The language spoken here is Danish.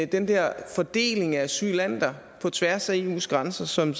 den der fordeling af asylanter på tværs af eus grænser som